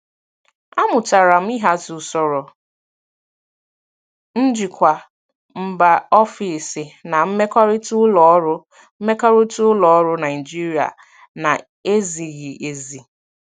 Amụtara m ịhazi usoro njikwa mba ofesi na mmekọrịta ụlọ ọrụ mmekọrịta ụlọ ọrụ Naijiria na-ezighi ezi.